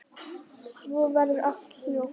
Svo verður allt hljótt.